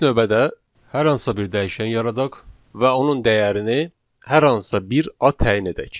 İlk növbədə hər hansısa bir dəyişən yaradaq və onun dəyərini hər hansısa bir ad təyin edək.